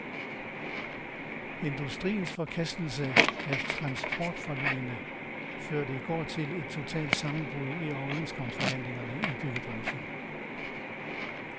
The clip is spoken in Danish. Industriens forkastelse af transportforligene førte i går til et totalt sammenbrud i overenskomstforhandlingerne i byggebranchen.